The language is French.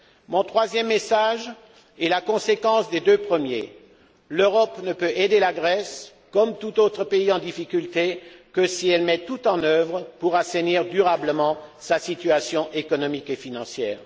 Mon troisième message est la conséquence des deux premiers l'Europe ne peut aider la Grèce, comme tout autre pays en difficulté, que si celle ci met tout en œuvre pour assainir durablement sa situation économique et financière.